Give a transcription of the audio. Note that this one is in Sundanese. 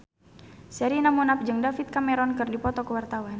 Sherina Munaf jeung David Cameron keur dipoto ku wartawan